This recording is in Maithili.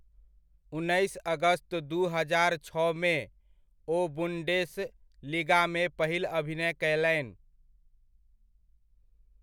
उन्नैस अगस्त दू हजार छओमे, ओ बुन्डेस लिगामे पहिल अभिनय कयलनि।